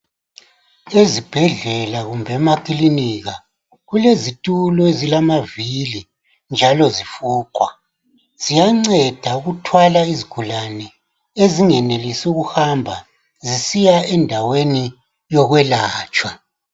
Ezibhedlela kumbe emakilinika, kulezitulo ezilamavili njalo zifuqwa. Ziyanceda ukuthwala izigulani ezingenelisi ukuhamba zisiya endaweni yokwelatshwa.